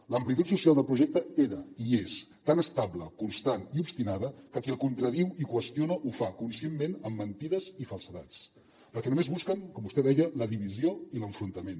l’amplitud social del projecte era i és tan estable constant i obstinada que qui el contradiu i qüestiona ho fa conscientment amb mentides i falsedats perquè només busquen com vostè deia la divisió i l’enfrontament